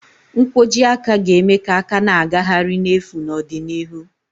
Nkwojiaka ga-eme ka aka na-agagharị n'efu n'ọdịnihu.